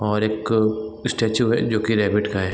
और एक स्टैचू है जो कि रैबिट का है।